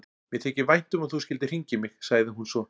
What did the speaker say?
Mér þykir vænt um að þú skyldir hringja í mig, sagði hún svo.